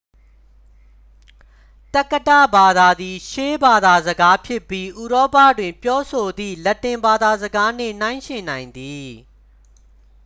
သက္ကတဘာသာသည် ရှေးဘာသာစကားဖြစ်ပြီး ဥရောပတွင် ပြောဆိုသည့် လက်တင်ဘာသာစကားနှင့် နှိုင်းယှဉ်နိုင်သည်